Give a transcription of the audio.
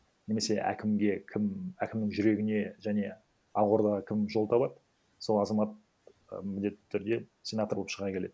немесе әкімге кім әкімнің жүрегіне және ақ ордаға кім жол табады сол азамат і міндетті түрде сенатор боп шыға келеді